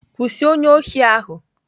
Kwụsị onye ohi ahụ!